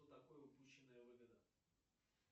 что такое упущенная выгода